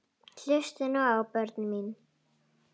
Hlustið nú á, börnin mín.